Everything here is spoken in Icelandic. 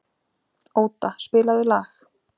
Óda, spilaðu lag.